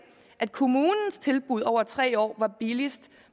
at kommunens tilbud over tre år var billigst